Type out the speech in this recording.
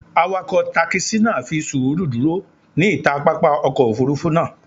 Awakọ takisi naa fi suuru duro ni ita papa ọkọ ofurufu naa